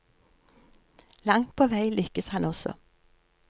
Langt på vei lykkes han også.